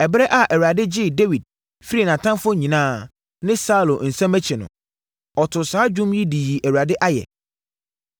Ɛberɛ a Awurade gyee Dawid firii nʼatamfoɔ nyinaa ne Saulo nsam akyi no, ɔtoo saa dwom yi de yii Awurade ayɛ.